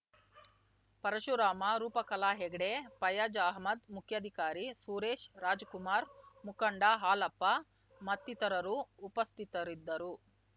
ಪರಶುರಾಮ ರೂಪಕಲಾಹೆಗಡೆ ಫಯಾಜ್‌ ಅಹ್ಮದ್‌ ಮುಖ್ಯಾಧಿಕಾರಿ ಸುರೇಶ್‌ ರಾಜಕುಮಾರ್‌ ಮುಖಂಡ ಹಾಲಪ್ಪ ಮತ್ತಿತರರು ಉಪಸ್ಥಿತರಿದ್ದರು